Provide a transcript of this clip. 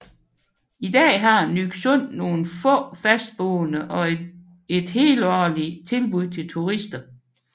I dag har Nyksund nogle få fastboende og et helårlig tilbud til turister